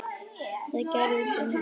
Hvað gerist um helgina?